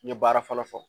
N ye baara fɔlɔ-fɔlɔ